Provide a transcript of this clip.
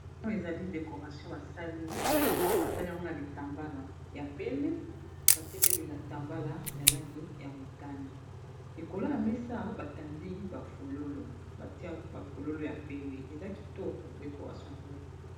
Oyo ezali decoration basali, basali yango na bitambala ya pembe batie pe bitambala ya langi ya motane. Likolo ya mesa ba tandi ba fololo, batie ba fololo ya pembe eza kitoko decoration oyo.